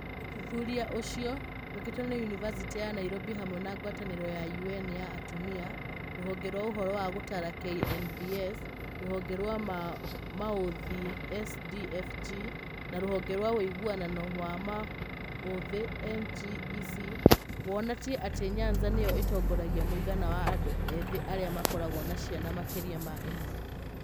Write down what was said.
Ũthuthuria ũcio, wĩkĩtwo nĩ Yunivasĩtĩ ya Nairobi hamwe na ngwatanĩro ya ũN ya atumia,r ũhonge rwa ũhoro wa g ũtara KNBS, r ũhonge rwa ma ũ ũthĩ SDfG, na r ũhonge rwa wuigananu wa ma ũ ũthĩ NGEC, wonatie atĩ Nyanza nĩyo ĩtongoragia mũigana wa andũ ethĩ arĩa makoragwo na ciana makĩria ma ĩmwe.